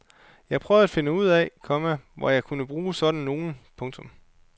Jeg prøver at finde ud af, komma hvor jeg kunne bruge sådan nogle. punktum